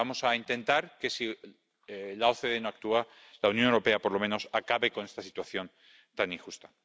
Vamos a intentar que, si la OCDE no actúa, la Unión Europea por lo menos acabe con esta situación tan injusta.